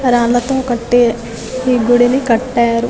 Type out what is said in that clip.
రాళ్ళతో కట్టి ఈ గుడిని కట్టారు.